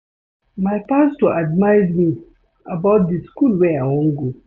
My pastor advice me about the school wey I wan go